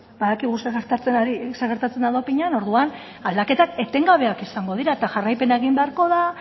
badakigu zer gertatzen da dopinean orduan aldaketak etengabeak izango dira eta jarraipena egin beharko da